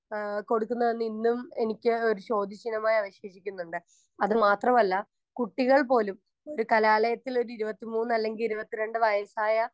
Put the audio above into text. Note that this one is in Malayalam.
സ്പീക്കർ 1 ആഹ് കൊടുക്കുന്നത് എന്ന് ഇന്നും എനിക്ക് ഒരു ചോദ്യചിഹ്നമായി അവശേഷിക്കുന്നുണ്ട്. അതുമാത്രവല്ല കുട്ടികൾപോലും ഒരു കലാലയത്തിലൊരു ഇരുപത്തി മൂന്ന് അല്ലെങ്കി ഇരുപത്തി രണ്ട് വയസ്സായ